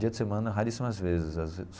Dia de semana, raríssimas vezes.